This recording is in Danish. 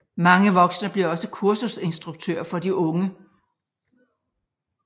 Mange voksne bliver også kursusinstruktører for de unge